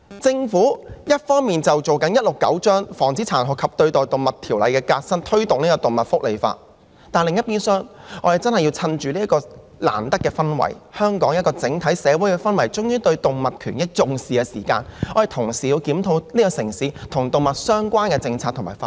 政府一方面推行第169章《防止殘酷對待動物條例》的革新，以推動動物福利法，但另一邊廂，我們真的要藉着香港整體社會終於重視動物權益的氛圍，同時檢討這個城市與動物相關的政策及法例。